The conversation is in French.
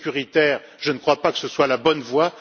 Le sécuritaire, je ne crois pas que ce soit la bonne voie.